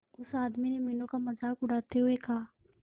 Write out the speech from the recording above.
उस आदमी ने मीनू का मजाक उड़ाते हुए कहा